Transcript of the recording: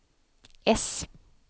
S